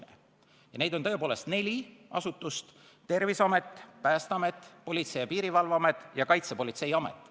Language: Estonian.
Neid asutusi on tõepoolest neli: Terviseamet, Päästeamet, Politsei- ja Piirivalveamet ning Kaitsepolitseiamet.